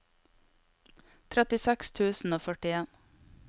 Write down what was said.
trettiseks tusen og førtien